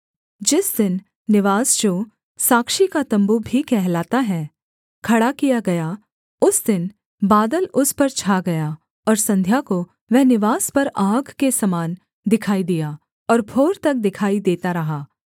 जिस दिन निवास जो साक्षी का तम्बू भी कहलाता है खड़ा किया गया उस दिन बादल उस पर छा गया और संध्या को वह निवास पर आग के समान दिखाई दिया और भोर तक दिखाई देता रहा